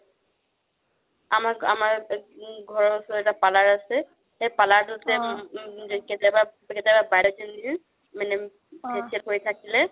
আমাৰ্, আমাৰ ঘৰৰ ওচৰত এটা parlor আছে সেই parlor টোত যে কেতিয়াবা বা জনিয়ে মানে facial কৰি থাকিলে